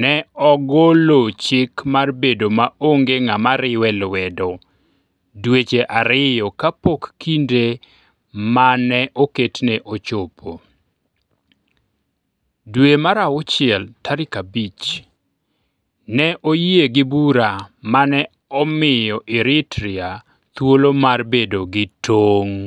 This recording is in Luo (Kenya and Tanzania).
ne ogolo chik mar bedo maonge ng'ama riwe lwedo dweche ariyo kapok kinde ma ne oketne ochopo Jun 5, ne oyie gi bura ma ne omiyo Eritrea thuolo mar bedo gi tong '.